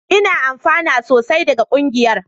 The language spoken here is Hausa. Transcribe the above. Ina amfana sosai daga ƙungiyar